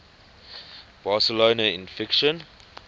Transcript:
barcelona in fiction